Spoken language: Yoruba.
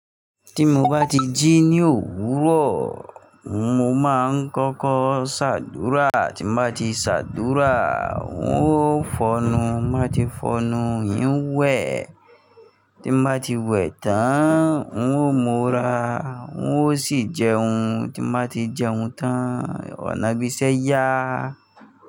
Tí mo bá ti jí ní òwúrọ̀, mo máa ń kọ́kọ́ ṣàdúrà, tí n bá ti ṣàdúrà, n ó fọonu, máa ti fọnnu, ń wẹ̀, tí mo bá ti wẹ̀ tán, n ó múra, n ó sì jẹun, tí mo bá ti jẹun tán, ọ̀nà ìbí ṣẹ́ yá.